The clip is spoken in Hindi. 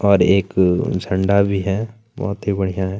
और एक झंडा भी है बहुत ही बढ़िया हैं।